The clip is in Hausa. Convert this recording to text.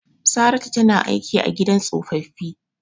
Saratu tana aiki a gidan tsofaffi.